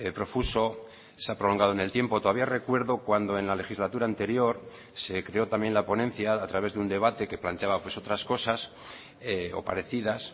profuso se ha prolongado en el tiempo todavía recuerdo cuando en la legislatura anterior se creó también la ponencia a través de un debate que planteaba otras cosas o parecidas